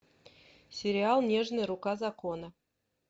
сериал нежная рука закона